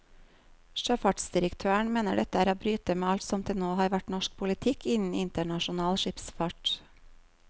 Sjøfartsdirektøren mener dette er å bryte med alt som til nå har vært norsk politikk innen internasjonal skipsfart.